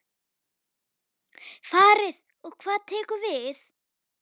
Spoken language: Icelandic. Farið og hvað tekur við?